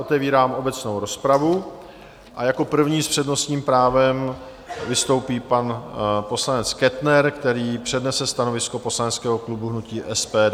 Otevírám obecnou rozpravu a jako první s přednostním právem vystoupí pan poslanec Kettner, který přednese stanovisko poslaneckého klubu hnutí SPD.